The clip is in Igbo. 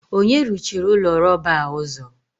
onye ruchiri ụlọ rọba a ụzọ?